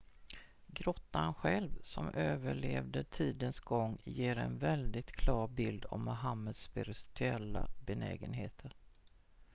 grottan själv som överlevde tidens gång ger en väldigt klar bild av mohammeds spirituella benägenheter